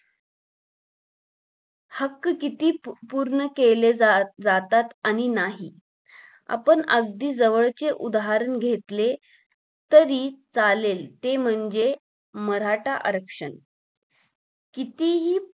हक्क किती पूर्ण केले जा जातात आणि नाही आपण अगदी जवळचे उदाहरण घेतले तरी चालेल ते म्हणजे मराठा आरंक्षण कितीही